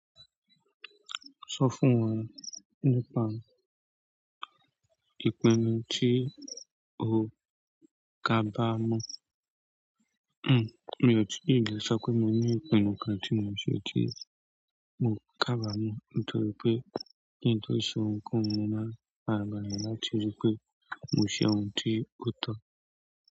Sọ fún wa nípa ìpinnu tí o kabamọ. Hmm, mi ò tí ì lè sọ pé mo ní ìpinnu kan tí mò ń ṣe tí mo kabamọ nítorí pé kí n tó se ohunkóhun, mo máa n farabalẹ̀ láti rí pé mò ṣe ohun tí ó tọ́.